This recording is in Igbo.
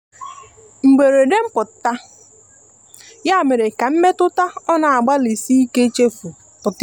mgberede mputa ya mere ka mmetụta ọ na agbali sike ichefu pụta ihe